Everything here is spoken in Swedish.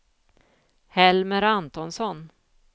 Helmer Antonsson